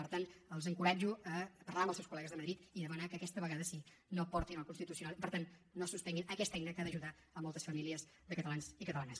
per tant els encoratjo a parlar amb els seus col·legues de madrid i demanar que aquesta vegada sí que no ho portin al constitucional per tant no suspenguin aquesta eina que ha d’ajudar moltes famílies de catalans i catalanes